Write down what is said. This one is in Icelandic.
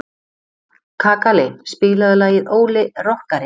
Kakali, spilaðu lagið „Óli rokkari“.